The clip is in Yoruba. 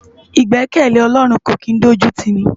Igbèkèlé Òlòrún kó kin dójútini